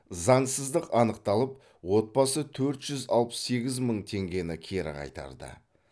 заңсыздық анықталып отбасы төрт жүз алпыс сегіз мың теңгені кері қайтарды